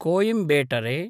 Coimbatore